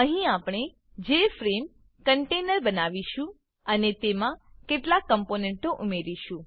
અહીં આપણે J F R M E JFrame container બનાવીશું અને તેમાં કેટલાક કમ્પોનેંટો ઉમેરીશું